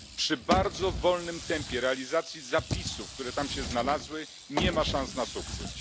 Przy bardzo wolnym tempie realizacji zapisów, które tam się znalazły, nie ma szans na sukces.